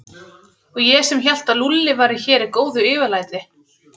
Og ég sem hélt að Lúlli væri hér í góðu yfirlæti.